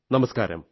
നമസ്കാരം